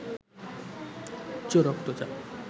উচ্চ রক্তচাপ